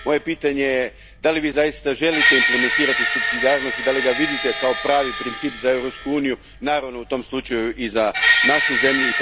Moje je pitanje da li Vi zaista želite implementirati supsidijarnost i da li ga vidite kao pravi princip za Europsku uniju, naravno u tom slučaju i za našu zemlju?